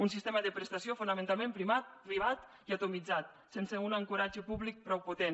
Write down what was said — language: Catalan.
un sistema de prestació fonamentalment privat i atomitzat sense un ancoratge públic prou potent